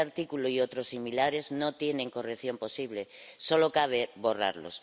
Este artículo y otros similares no tienen corrección posible, solo cabe borrarlos.